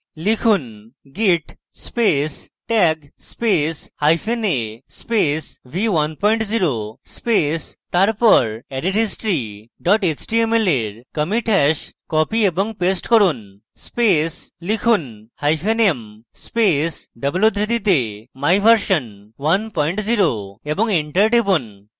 লিখুন: git space tag space hyphen a space v10 space তারপর added history html এর commit hash copy এবং paste করুন space লিখুন: hyphen m space double উদ্ধৃতিতে my version v10 এবং enter টিপুন